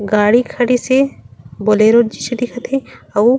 गाड़ी खड़ीस हे बोलेरो जिसे दिखत हे अउ--